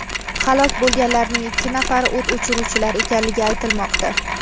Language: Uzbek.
Halok bo‘lganlarning ikki nafari o‘t o‘chiruvchilar ekanligi aytilmoqda.